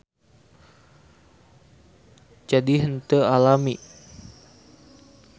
Jadi henteu alami.